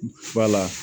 Ba la